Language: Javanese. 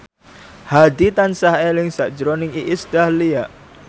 Hadi tansah eling sakjroning Iis Dahlia